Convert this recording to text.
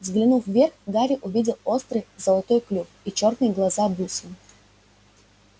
взглянув вверх гарри увидел острый золотой клюв и чёрные глаза-бусины